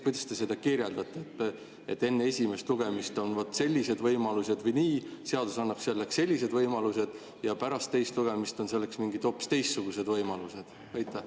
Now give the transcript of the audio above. Kuidas te seda kirjeldate, et enne esimest lugemist on vot sellised võimalused või nii, seadus annab selleks sellised võimalused, ja pärast teist lugemist on selleks mingid hoopis teistsugused võimalused?